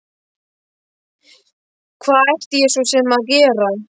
Hvað ætti ég svo sem að gera?